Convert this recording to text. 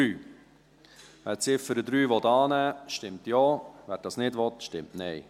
Wer die Ziffer 3 annehmen will, stimmt Ja, wer das nicht will, stimmt Nein.